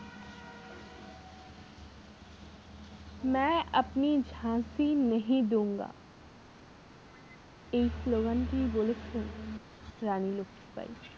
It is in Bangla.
ম্যা আপনি ঝাঁসি নাহি দুগা এই স্লোগান টি বলেছিলেন রানী লক্ষীবাঈ।